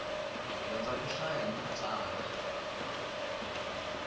dyondza ku hlaya na ku tsala